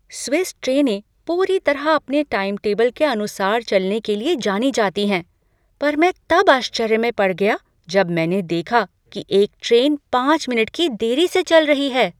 Swiss ट्रेनें पूरी तरह अपने टाइम टेबल के अनुसार चलने के लिए जानी जाती हैं पर मैं तब आश्चर्य में पड़ गया जब मैंने देखा कि एक ट्रेन पाँच मिनट की देरी से चल रही है।